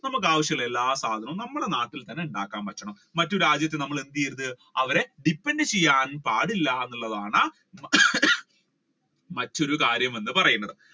നമ്മുക്ക് ആവശ്യമുള്ള എല്ലാ സാധനങ്ങളും നമ്മുടെ നാട്ടിൽ തന്നെ ഉണ്ടാക്കാൻ പറ്റണം മറ്റു രാജ്യത്തെ നമ്മൾ എന്ത്ചെയ്യരുത് അവരെ depend ചെയ്യാൻ പാടില്ല എന്നുള്ളതാണ് മറ്റൊരു കാര്യം എന്ന് പറയുന്നത്